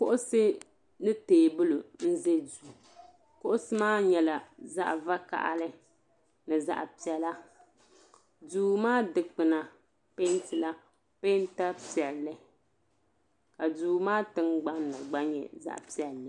Kuɣusi ni teebuli n za duu kuɣusi maa nyɛla zaɣa vakahali ni zaɣa piɛla duu maa dikpina pentila penta piɛli ka duu maa tingbani gba nyɛ zaɣa piɛli.